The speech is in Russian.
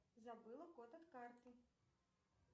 забыла код от карты